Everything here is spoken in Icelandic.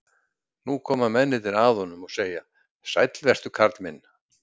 Nú koma mennirnir að honum og segja: Sæll vertu karl minn.